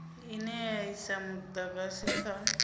ine ya isa mudagasi kha